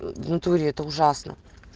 в натуре это ужасно